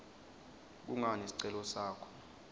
kungani sicelo sakho